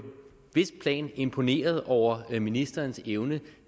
vidst plan imponeret over ministerens evne